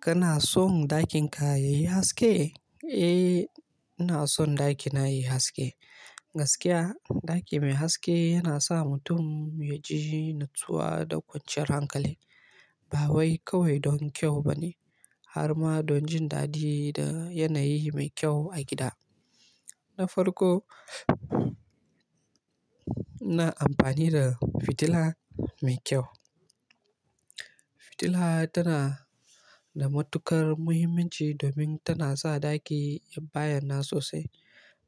Kana son ɗakin ka yayi haske? Eh, ina son ɗakina yayi haske. Gaskiya ɗaki mai haske yana sa mutum ya ji natsuwa da kwanciyar hankali. Ba wai kawai don kyau ba ne, har ma don jin daɗi da yanayi mai kyau a gida. Na farko, ina amfani da fitila mai kyau. Fitila tana da matuƙar muhimmanci domin tana sa ɗaki ya bayana sosai.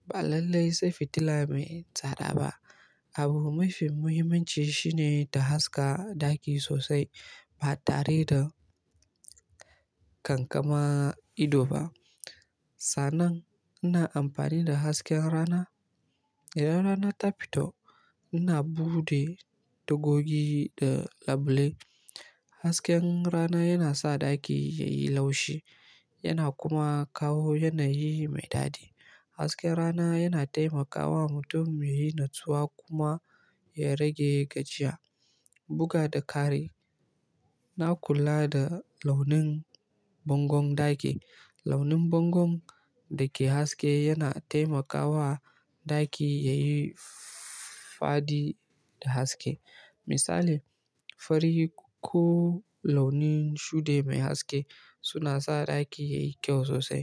Ba lallai sai fitila mai tsada ba. Abu mafi muhimmanci shine ta haska ɗaki sosai ba tare da kankama ido ba. Sannan ina amfani da hasken rana. Idan rana ta fito ina buɗe tagogi da labule. Hasken rana yana sa ɗaki yayi laushi yana kuma kawo yanayi mai daɗi. Hasken rana yana taimakawa mutum ya yi natsuwa kuma ya rage gajiya. Buga da kari, na kula da launin bangon ɗaki. Launin bangon da ke haske yana taimakawa ɗaki yayi fadi da haske. Misali, fari ko launin shuɗi mai haske suna sa ɗaki yayi kyau sosai.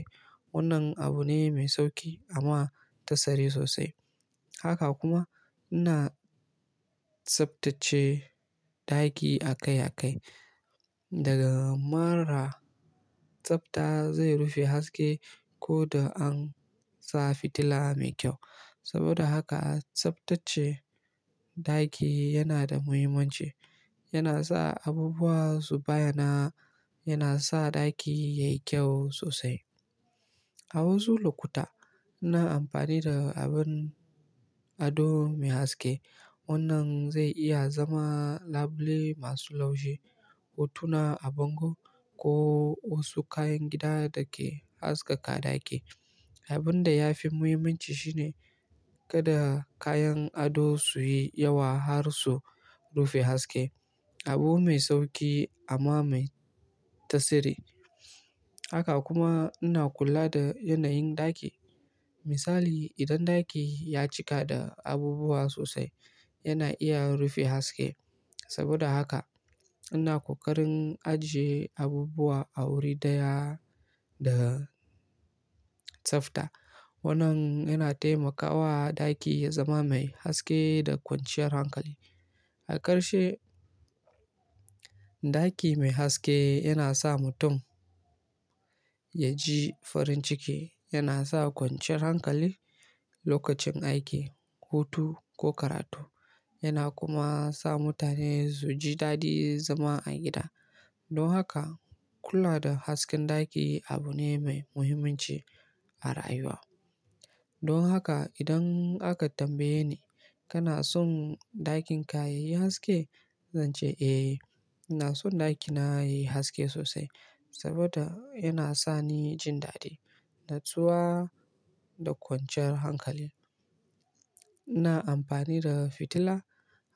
Wannan abu ne mai sauƙi amma tasiri sosai. Haka kuma ina tsaftace ɗaki a kai a kai. Daga mara tsafta zai rufe haske ko da an sa fitila mai kyau. Saboda haka tsaftace ɗaki yana da muhimmanci. Yana sa abubuwa su bayana yana sa ɗaki yayi kyau sosai. A wasu lokuta ina amfani da abun ado mai haske. Wannan zai iya zama labule masu laushi, hotuna a bango ko wasu kayan gida da ke haskaka ɗaki. Abun da ya fi muhimmanci shi ne kada kayan ado su yi yawa har su rufe haske. Abu mai sauƙi amma mai tasiri. Haka kuma ina kula da yanayin ɗaki. Misali, idan ɗaki ya cika da abubuwa sosai yana iya rufe haske. Saboda haka ina ƙoƙarin ajiye abubuwa a wuri daya da tsafta. Wannan yana taimakawa ɗaki ya zama mai haske da kwanciyar hankali. A ƙarshe, ɗaki mai haske yana sa mutum ya ji farin ciki, yana sa kwanciyar hankali lokacin aiki, hutu ko karatu, yana kuma sa mutane su ji daɗin zama a gida. Don haka kula da hasken ɗaki abu ne mai muhimmanci a rayuwa. Don haka idan aka tambaye ni kana son ɗakin ka yayi haske? Zan ce eh, ina son ɗakina yayi haske sosai saboda yana sa ni jin daɗi, natsuwa da ƙwanciyar hankali. Ina amfani da fitila,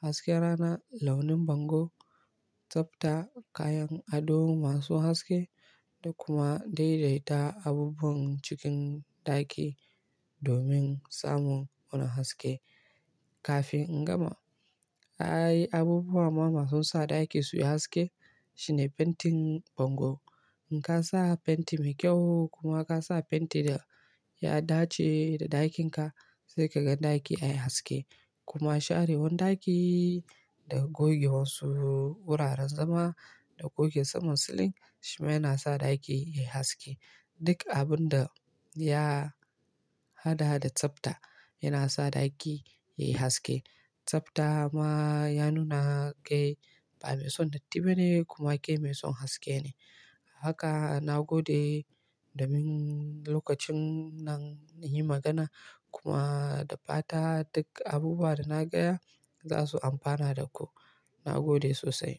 hasken rana, launin bango, tsafta, kayan ado masu haske da kuma daidaita abubuwan cikin ɗaki domin samun wannan haske. Kafin in gama, ayi abubuwa ma masu sa ɗaki suyi haske shine fentin bango. In ka sa fenti mai kyau kuma ka sa fenti da ya dace da ɗakin ka sai ka gan ɗaki yayi haske. Kuma sharewan ɗaki da goge wasu wuraren zama da goge saman silin shima yana sa ɗaki yayi haske. Duk abun da ya hada hada tsafta yana sa ɗaki yayi haske. Tsafta ma ya nuna kai ba mai son datti ba ne kuma kai mai son haske ne. Haka na gode domin lokacin nan na yi magana kuma da fata duk abubuwa da na gaya za su amfana da ku. Na gode sosai.